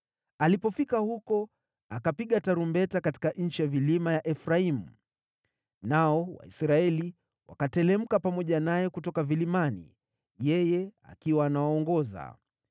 Alipofika huko, akapiga tarumbeta katika nchi ya vilima ya Efraimu, nao Waisraeli wakateremka pamoja naye kutoka vilimani, yeye akiwa anawaongoza.